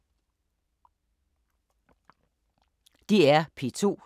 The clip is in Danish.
DR P2